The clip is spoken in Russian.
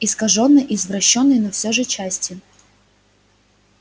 искажённой извращённой но всё же частью